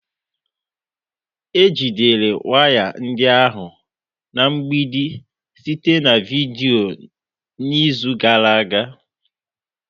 Ejidere waya ndị ahụ na mgbidi site na vidiyo n'izu gara aga